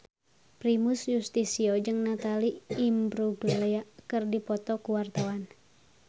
Primus Yustisio jeung Natalie Imbruglia keur dipoto ku wartawan